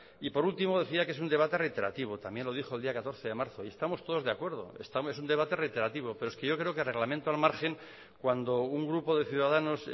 y por último decía que es un debate reiterativo también lo dijo el día catorce de marzo y estamos todos de acuerdo es un debate reiterativo pero es que yo creo que reglamento al margen cuando un grupo de ciudadanos